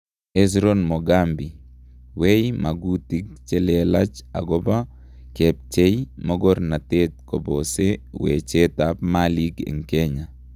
Hezron Mogambi: weny, magutig chelelach agoba kepchei mogornatet kobose wechet ap malig en Kenya